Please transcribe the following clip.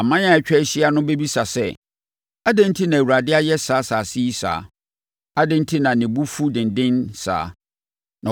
Aman a atwa ahyia no bɛbisa sɛ, “Adɛn enti na Awurade ayɛ saa asase yi saa? Adɛn enti na ne bo fu denden saa?”